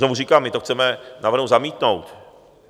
Znovu říkám, my to chceme v návrhu zamítnout.